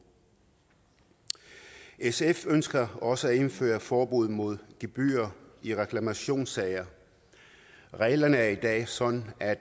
sf ønsker også at indføre forbud mod gebyrer i reklamationssager reglerne er i dag sådan at